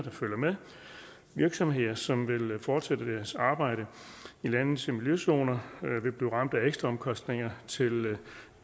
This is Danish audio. virksomheder som vil fortsætte deres arbejde i landets miljøzoner vil blive ramt af ekstraomkostninger